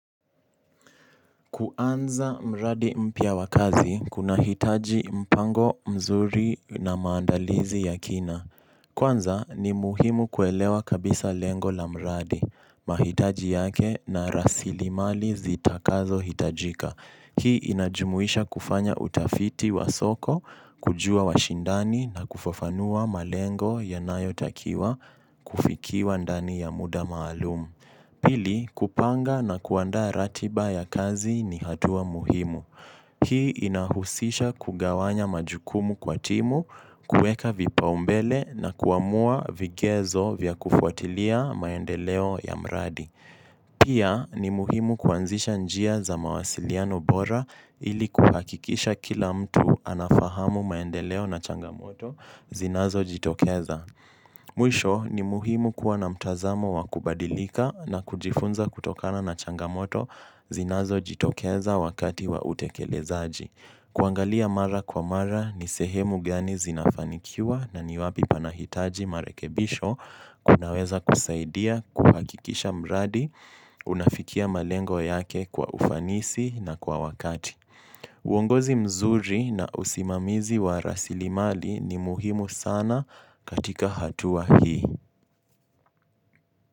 Kuanza mradi mpya wa kazi, kuna hitaji mpango mzuri na maandalizi ya kina. Kuanza ni muhimu kuelewa kabisa lengo la mradi, mahitaji yake na rasili mali zita kazo hitajika. Hii inajumuisha kufanya utafiti wa soko, kujua washindani na kufafanua malengo ya nayotakiwa kufikiwa ndani ya muda maalumu. Pili, kupanga na kuandaa ratiba ya kazi ni hatua muhimu. Hii inahusisha kugawanya majukumu kwa timu, kueka vipa umbele na kuamua vigezo vya kufuatilia maendeleo ya mradi. Pia, ni muhimu kuanzisha njia za mawasiliano bora ili kuhakikisha kila mtu anafahamu maendeleo na changamoto zinazo jitokeza. Mwisho ni muhimu kuwa na mtazamo wa kubadilika na kujifunza kutokana na changamoto zinazo jitokeza wakati wa utekelezaji. Kuangalia mara kwa mara ni sehemu gani zinafanikiwa na niwapi panahitaji marekebisho kunaweza kusaidia kuhakikisha mradi unafikia malengo yake kwa ufanisi na kwa wakati. Uongozi mzuri na usimamizi wa rasilimali ni muhimu sana katika hatua hii.